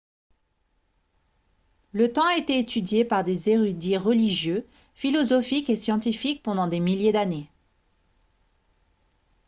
le temps a été étudié par des érudits religieux philosophiques et scientifiques pendant des milliers d'années